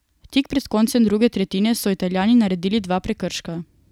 Tik pred koncem druge tretjine so Italijani naredili dva prekrška.